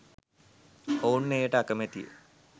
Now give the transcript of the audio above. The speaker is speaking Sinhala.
ඔවුන් එයට අකමැති ය